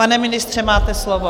Pane ministře, máte slovo.